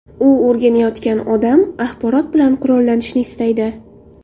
U o‘rganayotgan odam, axborot bilan qurollanishni istaydi.